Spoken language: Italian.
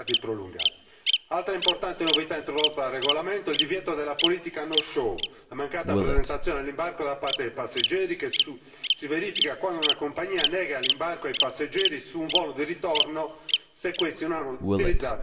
Altra importante novità introdotta dal regolamento è il divieto della politica no show, la mancata presentazione all'imbarco da parte dei passeggeri che si verifica quando una compagnia nega l'imbarco ai passeggeri su un volo di ritorno se questi non hanno utilizzato il volo di andata del biglietto.